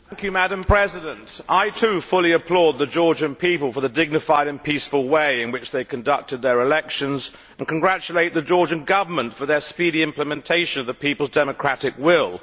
Madam President, I too fully applaud the Georgian people for the dignified and peaceful way in which they conducted their elections, and congratulate the Georgian Government on its speedy implementation of the people's democratic will.